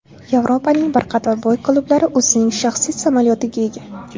Yevropaning bir qator boy klublari o‘zining shaxsiy samolyotiga ega.